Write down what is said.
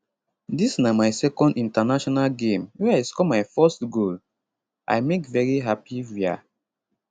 dis na my second international game wey i score my first goal i make very happy wia